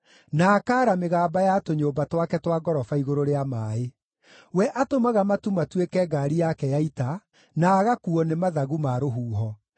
na akaara mĩgamba ya tũnyũmba twake twa ngoroba igũrũ rĩa maaĩ. We atũmaga matu matuĩke ngaari yake ya ita, na agakuuo nĩ mathagu ma rũhuho.